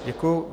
Děkuji.